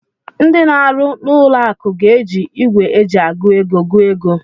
Ndị na-arụ n'ụlọ akụ ga-eji igwe eji agụ ego gụọ ego.